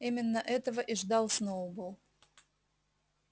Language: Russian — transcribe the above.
именно этого и ждал сноуболл